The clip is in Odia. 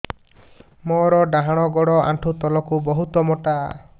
ମୋର ଡାହାଣ ଗୋଡ ଆଣ୍ଠୁ ତଳୁକୁ ବହୁତ ମୋଟା